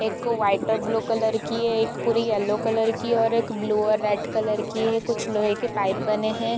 एक वाइट और blue colour की है | एक पूरी येल्लो कलर की है और एक ब्लू और रेड कलर की है | कुछ लोहे की पाइप बने हैं।